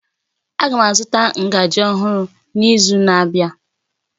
Aga m azụta ngaji ọhụrụ n'izu na-abịa